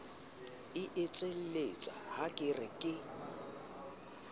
etselletsa ha ke re ke